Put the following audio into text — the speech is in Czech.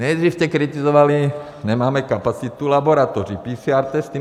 Nejdřív jste kritizovali, nemáme kapacitu laboratoří, PCR testy.